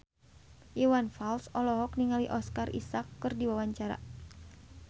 Iwan Fals olohok ningali Oscar Isaac keur diwawancara